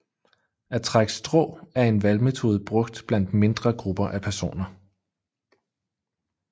At trække strå er en valgmetode brugt blandt mindre grupper af personer